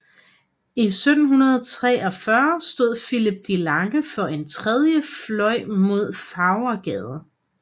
I 1743 stod Philip de Lange for en tredje fløj mod Farvergade